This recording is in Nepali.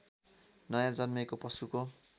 नयाँ जन्मेको पशुको